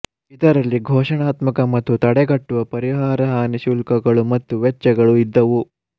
ಇದರಲ್ಲಿ ಘೋಷಣಾತ್ಮಕ ಮತ್ತು ತಡೆಗಟ್ಟುವ ಪರಿಹಾರ ಹಾನಿ ಶುಲ್ಕಗಳು ಮತ್ತು ವೆಚ್ಚಗಳು ಇದ್ದವು